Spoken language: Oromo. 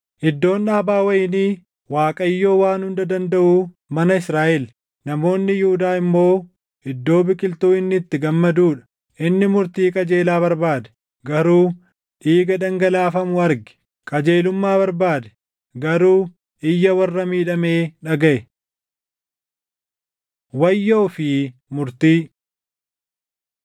Iddoon dhaabaa wayinii Waaqayyoo Waan Hunda Dandaʼuu mana Israaʼel; namoonni Yihuudaa immoo iddoo biqiltuu inni itti gammaduu dha. Inni murtii qajeelaa barbaade; garuu dhiiga dhangalaafamu arge; qajeelummaa barbaade; garuu iyya warra miidhamee dhagaʼe. Wayyoo fi Murtii